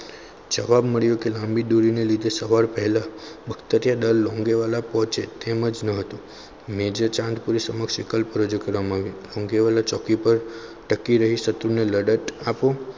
જવાબ મળ્યો કે લાંબી દૂરી ને લીધે સવાર પહેલા બખ્તરિયા દલ લોન્ગીવાળા પહોંચે તેમ જ ન હતું મેજર ચાંદ પૂરી સમક્ષ વિકલ્પ રજૂ કરવામાં આવ્યો. લોંગીવાલા ચોકી પર ટકી રહી શકતું અને લડત આપો.